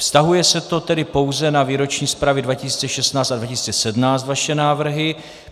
Vztahuje se to tedy pouze na výroční zprávy 2016 a 2016 - vaše návrhy?